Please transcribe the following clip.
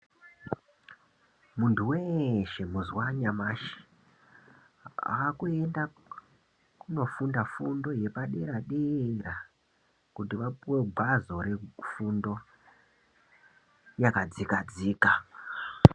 Munhu weeshe mazuwa anyamushi akuenda koofunda fundo yepadera dera kuti apiwe gwazo refundo yakadzika dzika.